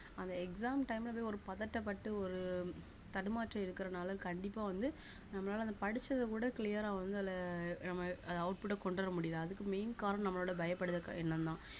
அந்த exam time ல அப்படியே ஒரு பதட்டப்பட்டு ஒரு தடுமாற்றம் இருக்கிறதுனால கண்டிப்பாக வந்து நம்மளால அந்த படிச்சதை விட clear ஆ வந்து அதுல நம்ம அத output ஆ கொண்டு வர முடியல அதுக்கு main காரணம் நம்மளோட பயப்படுத்துற எண்ணம்தான்